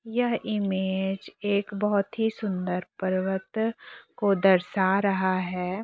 यह इमेज एक बहोत ही सुन्दर पर्वत को दर्शा रहा है।